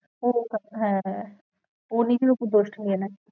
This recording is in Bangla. ও হ্যাঁ হ্যাঁ ও নিজের ওপর দোষটা নিয়ে নেয়।